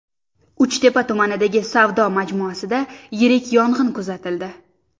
Uchtepa tumanidagi savdo majmuasida yirik yong‘in kuzatildi .